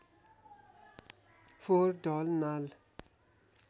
फोहोर ढल नाल